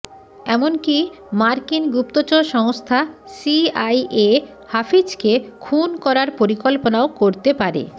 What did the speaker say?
এমনকী মার্কিন গুপ্তচর সংস্থা সিআইএ হাফিজকে খুন করার পরিকল্পনাও করতে পারে